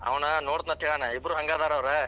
ಅವನ ನೋಡ್ತೇನಂತ ಹೇಳ್ಯಾನ ಇಬ್ಬರು ಹಂಗ ಅದಾರ ಅವ್ರು.